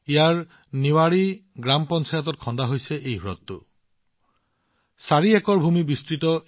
ইয়াত নিৱাৰী গ্ৰাম পঞ্চায়তত নিৰ্মিত এই হ্ৰদটো ৪ একৰজুৰি ব্যাপি আছে